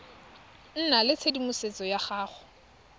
nna le tshedimosetso ya go